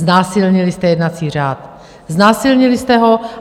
Znásilnili jste jednací řád, znásilnili jste ho.